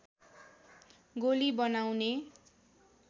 गोली बनाउने